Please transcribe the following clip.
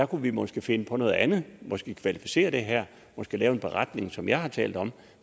kunne vi måske finde på noget andet måske kvalificere det her måske lave en beretning som jeg har talt om